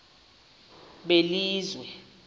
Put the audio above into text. belizwe